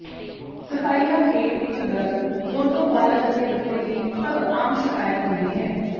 ਸਫ਼ਾਇਆ ਪੇਟ ਵਿੱਚ ਦਰਦ ਦੋਨੋ ਬਾਲਗ ਅਤੇ ਬੱਚੇ ਦੀ ਸਭ ਆਮ ਸ਼ਿਕਾਇਤ ਹੁੰਦੀ ਹੈ